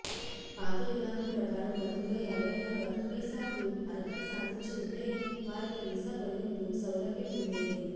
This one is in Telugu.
పాత విధానం ప్రకారం గతంలో ఎవరైనా వర్క్వీసాకు అర్హత సాధించివుంటే వారికి వీసా పొడిగింపు సౌలభ్యం ఉండేది